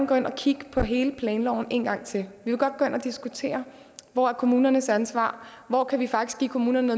gå ind og kigge på hele planloven en gang til vil godt gå ind og diskutere hvor er kommunernes ansvar hvor kan vi faktisk give kommunerne